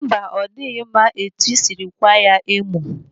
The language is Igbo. Mba, ọ dịghị mma etu isiri ịkwaa ya emo.